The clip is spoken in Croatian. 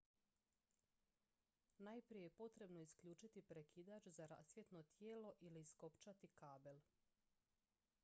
najprije je potrebno isključiti prekidač za rasvjetno tijelo ili iskopčati kabel